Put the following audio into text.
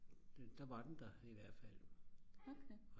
der var den der i hvert fald